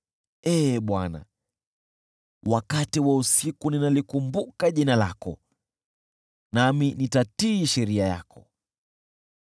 Ee Bwana , wakati wa usiku ninalikumbuka jina lako, nami nitatii sheria yako.